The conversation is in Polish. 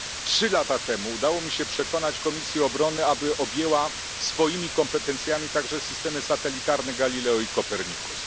Trzy lata temu udało mi się przekonać Podkomisję Bezpieczeństwa i Obrony, aby objęła swoimi kompetencjami także systemy satelitarne Galileo i Copernicus.